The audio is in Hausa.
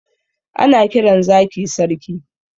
Ana kiran zaki sarki